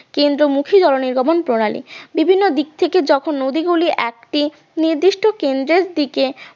কেন্দ্রমুখী জল নির্গমন প্রণালী বিভিন্ন দিক থেকে যখন নদীগুলি একটি নির্দিষ্ট কেন্দ্রের দিকে